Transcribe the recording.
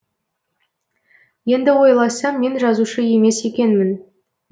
енді ойласам мен жазушы емес екенмін